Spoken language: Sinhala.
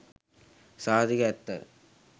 සහතික ඇත්තය.